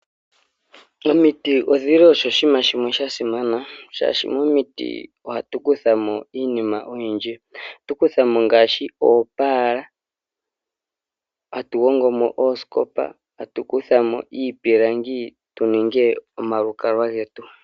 Omiti odhili osho oshiima shimwe shasimana, shaashi momiti ohatukuthamo iinima oyindji. Ohatukuthamo ngaashi oopaala, hatuhongomo oosikopa hatukuthamo iipilangi tuninge omalukalwa getu.